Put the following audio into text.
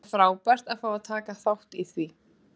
Það er frábært að fá að taka þátt í því.